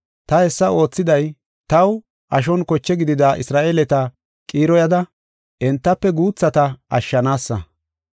Ta hessa oothiday taw ashon koche gidida Isra7eeleta qiiroyada entafe guuthata ashshanaasa.